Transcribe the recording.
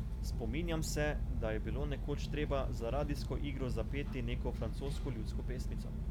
Spominjam se, da je bilo nekoč treba za radijsko igro zapeti neko francosko ljudsko pesmico.